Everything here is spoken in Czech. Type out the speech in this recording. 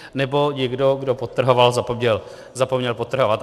Nebo někdo, kdo podtrhoval, zapomněl podtrhovat.